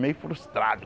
Meio frustrado.